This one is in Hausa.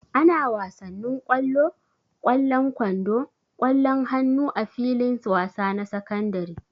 Ana wasanin kwalo, kwallan kwando, kwallon hannu a filin wasa na sakandare.